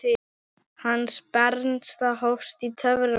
Hans bernska hófst í torfbæ.